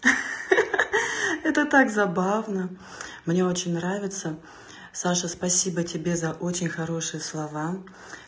ха-ха это так забавно мне очень нравится саша спасибо тебе за очень хорошие слова